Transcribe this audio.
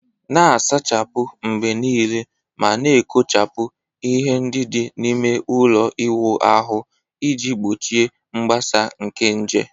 Na-asachapụ mgbe niile ma na-ekpochapụ ihe ndị dị n'ime ime ụlọ ịwụ ahụ iji gbochie mgbasa nke nje.